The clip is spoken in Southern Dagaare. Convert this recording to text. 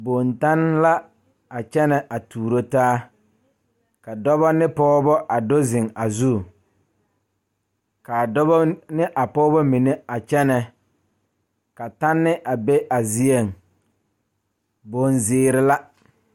Dɔɔba ne Pɔgeba kaa pɔge nyoŋ dɔɔ nu ka katawiɛ Kyaara ka dɔɔ a su dagakparo ka pɔge a gyere wagye a le kodo kaa dɔɔba a gyere wagyere.